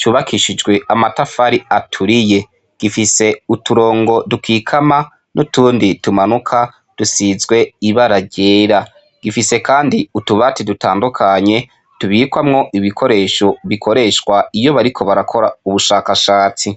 cubakishijwe amatafari aturiye. gifise uturongo dukikama n'utundi tumanuka dusizwe ibara ryera. Gifise kandi utubati dutandukanye tubikwamwo ibikoresho bikoreshwa iyo bariko barakora ubushakashatsi.